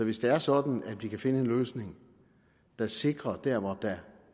hvis det er sådan at vi kan finde en løsning der sikrer at man der hvor der